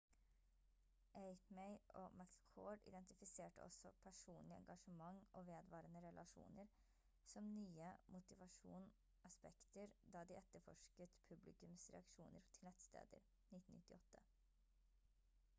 eighmey og mccord identifiserte også «personlig engasjement» og «vedvarende relasjoner» som nye motivasjon aspekter da de etterforsket publikums reaksjoner til nettsteder 1998